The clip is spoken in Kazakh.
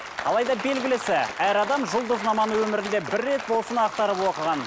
алайда белгілісі әр адам жұлдызнаманы өмірінде бір рет болсын ақтарып оқыған